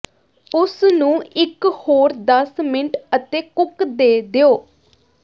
ਉਸ ਨੂੰ ਇਕ ਹੋਰ ਦਸ ਮਿੰਟ ਅਤੇ ਕੁੱਕ ਦੇ ਦਿਓ